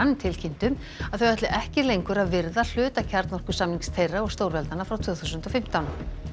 tilkynntu að þau ætli ekki lengur að virða hluta þeirra og stórveldanna frá tvö þúsund og fimmtán